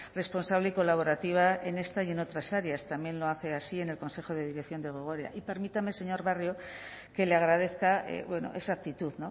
responsable y colaborativa en esta y en otras áreas también lo hace así en el consejo de dirección de gogora y permítame señor barrio que le agradezca esa actitud